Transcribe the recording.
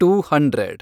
two hundred